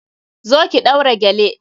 Zo ki ɗaura gele!